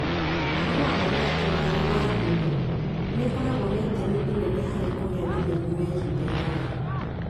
Ũhoro wa ma nĩ atĩ mĩhĩrĩga ya mũndũ nĩ ĩkoragwo na itemi inene harĩ kũgĩa na mĩrimũ ya ihinda iraya.